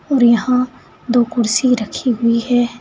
और यहां दो कुर्सी रखी हुई है।